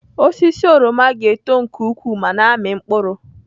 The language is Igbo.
Osisi oroma ga-eto nke ukwuu ma na-amị mkpụrụ.